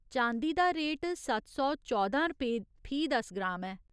चांदी दा रेट सत्त सौ चौदां रपेऽ फी दस ग्राम ऐ।